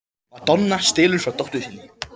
Madonna stelur frá dóttur sinni